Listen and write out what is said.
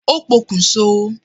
Ó pokùn so